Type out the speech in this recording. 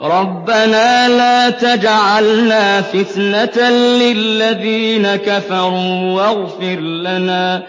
رَبَّنَا لَا تَجْعَلْنَا فِتْنَةً لِّلَّذِينَ كَفَرُوا وَاغْفِرْ لَنَا